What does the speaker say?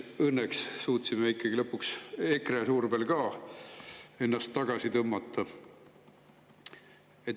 Õnneks suutsime ikkagi lõpuks EKRE survel ennast sealt tagasi tõmmata.